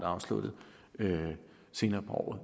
afsluttet senere på året